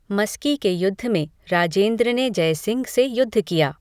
मस्की के युद्ध में राजेन्द्र ने जय सिंह से युद्ध किया।